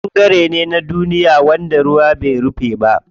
Ƙasa ɓangare ne na duniya wanda ruwa bai rufe ba.